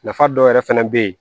Nafa dɔ yɛrɛ fana bɛ yen